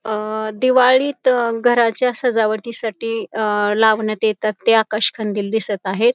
दिवाळीत घराच्या सजावटीसाठी लावण्यात येतात ते आकाश कंदील दिसत आहेत.